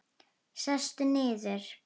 Sestu niður.